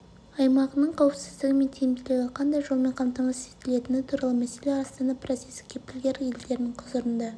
аймағының қауіпсіздігі мен тиімділігі қандай жолмен қамтамасыз етілетіні туралы мәселе астана процесі кепілгер елдерінің құзырында